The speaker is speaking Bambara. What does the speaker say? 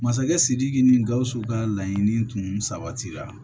Masakɛ sidiki ni gausu ka laɲini tun sabatira